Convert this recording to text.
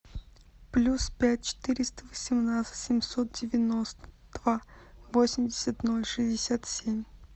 плюс пять четыреста восемнадцать семьсот девяносто два восемьдесят ноль шестьдесят семь